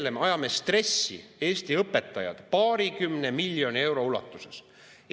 Ja me ajame stressi Eesti õpetajad paarikümne miljoni euro.